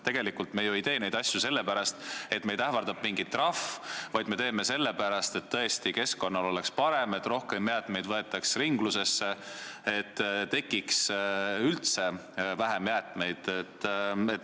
Tegelikult ei tee me neid asju ju sellepärast, et meid ähvardab mingi trahv, vaid sellepärast, et keskkonnal oleks parem, et rohkem jäätmeid võetaks ringlusesse, et tekiks üldse vähem jäätmeid.